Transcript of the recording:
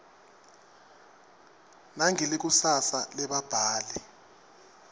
nangelikusasa lebabhali